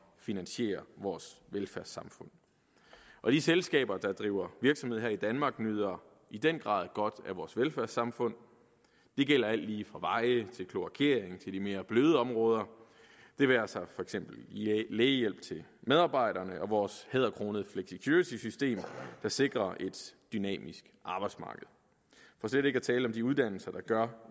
finansiere vores velfærdssamfund og de selskaber der driver virksomhed her i danmark nyder i den grad godt af vores velfærdssamfund det gælder alt lige fra veje til kloakering til de mere bløde områder det være sig for eksempel lægehjælp til medarbejderne og vores hæderkronede flexicurity system der sikrer et dynamisk arbejdsmarked for slet ikke at tale om de uddannelser der gør